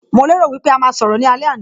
Mo lè rò wípé a máa sọ̀rọ̀ ní alẹ́ àná